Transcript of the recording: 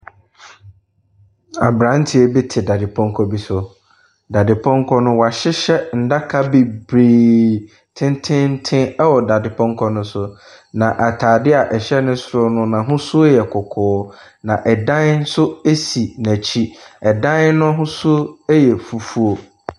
Aberanteɛ bi te dadepɔnkɔ bi so. Dadepɔnkɔ no, wahyehyɛ nnaka bebree tententen ɛwɔ dadepɔnkɔ no so, na ataadeɛ a ɛhyɛ ne soro no n'ahosuo yɛ kɔkɔɔ, na ɛdan nso si n'akyi, ɛdan n'ahosuo yɛ fufuo.